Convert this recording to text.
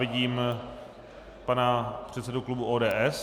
Vidím pana předsedu klubu ODS.